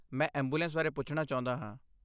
ਮੈਂ ਐਂਬੂਲੈਂਸ ਬਾਰੇ ਪੁੱਛਣਾ ਚਾਹੁੰਦਾ ਹਾਂ।